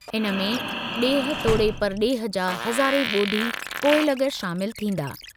इन में ॾेह तोड़े परॾेह जा हज़ारें ॿोधी पोइलॻ शामिल थींदा।